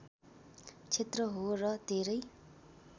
क्षेत्र हो र धेरै